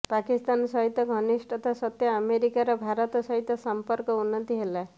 ପାକିସ୍ତାନ ସହିତ ଘନିଷ୍ଠତା ସତ୍ତ୍ବେ ଆମେରିକାର ଭାରତ ସହିତ ସମ୍ପର୍କର ଉନ୍ନତି ହେଲା